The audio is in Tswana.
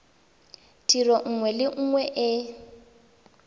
tiro nngwe le nngwe e